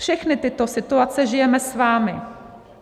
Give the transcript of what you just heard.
Všechny tyto situace žijeme s vámi.